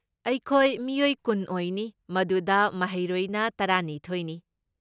ꯑꯩꯈꯣꯏ ꯃꯤꯑꯣꯏ ꯀꯨꯟ ꯑꯣꯏꯅꯤ, ꯃꯗꯨꯗ ꯃꯍꯩꯔꯣꯏꯅ ꯇꯔꯥꯅꯤꯊꯣꯏꯅꯤ꯫